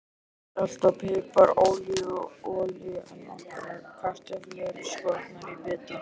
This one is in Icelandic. Salt og pipar Ólífuolía Nokkrar kartöflur skornar í bita.